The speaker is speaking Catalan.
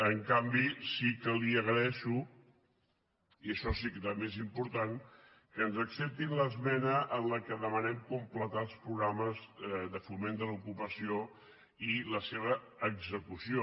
en canvi sí que li agraeixo i això sí que també és important que ens acceptin l’esmena en què demanem completar els programes de foment de l’ocupació i la seva execució